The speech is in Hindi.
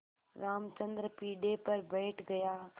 रामचंद्र पीढ़े पर बैठ गया